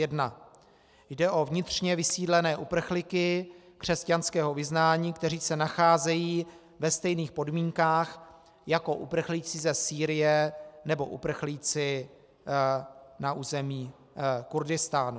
Jde o vnitřně vysídlené uprchlíky křesťanského vyznání, kteří se nacházejí ve stejných podmínkách jako uprchlíci ze Sýrie nebo uprchlíci na území Kurdistánu.